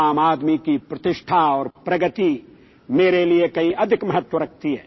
आम आदमी की प्रतिष्ठा और प्रगति मेरे लिए कहीं अधिक महत्व रखती है